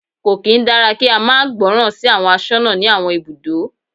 Kò kín dára kí á máa gbọ́ràn sí àwọn aṣọ́nà ní àwọn ibùdó.